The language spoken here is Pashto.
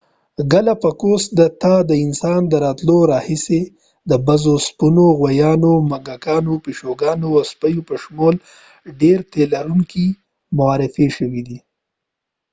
ګالاپاګوس ته د انسان د راتلو راهیسې د بزو اسپونو غوایانو موږکانو پیشوګانو او سپیو په شمول ډېر تيلرونکي معارفي شوي دي